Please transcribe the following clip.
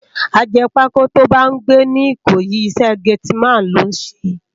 Àjèpákó tó bá n gbé ni Ikoyi, isè gétìmán ló n sé